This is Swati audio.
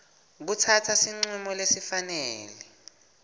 kutsatsa sincumo lesifanele